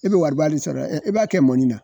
E bɛ wari ba de sɔrɔ, e b'a kɛ mɔni na.